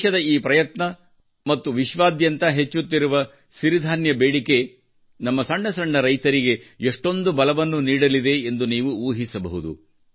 ದೇಶದ ಈ ಪ್ರಯತ್ನ ಮತ್ತು ವಿಶ್ವಾದ್ಯಂತ ಹೆಚ್ಚುತ್ತಿರುವ ಸಿರಿಧಾನ್ಯ ಬೇಡಿಕೆಯು ನಮ್ಮ ಸಣ್ಣಪುಟ್ಟ ರೈತರಿಗೆ ಷ್ಟೊಂದು ಬಲವನ್ನು ನೀಡಲಿದೆ ಎಂದು ನೀವು ಊಹಿಸಬಹುದು